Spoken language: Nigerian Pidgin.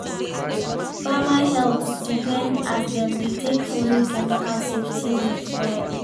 farmer health depend as dem dey take follow chemical safety rules well.